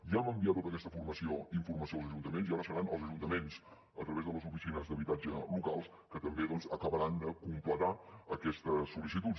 ja hem enviat tota aquesta informació als ajuntaments i ara seran els ajuntaments a través de les oficines d’habitatge locals que també doncs acabaran de completar aquestes sol·licituds